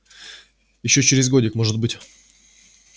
ещё через годик может быть